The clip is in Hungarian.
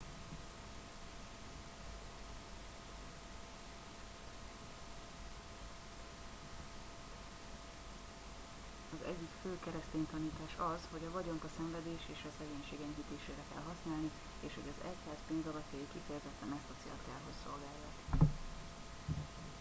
az egyik fő keresztény tanítás az hogy a vagyont a szenvedés és a szegénység enyhítésére kell használni és hogy az egyház pénzalapjai kifejezetten ezt a célt kell hogy szolgálják